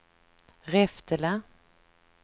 Reftele